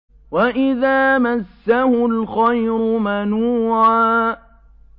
وَإِذَا مَسَّهُ الْخَيْرُ مَنُوعًا